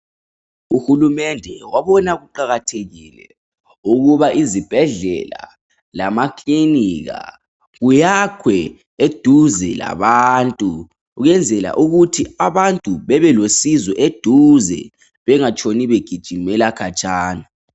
Uhulumende wabona kuqakathekile ukuba izibhedlela lamakilinika kuyakhwe eduze labantu kuyenzela ukuthi abantu bebelosizo eduze bengatshoni begijimela khatshana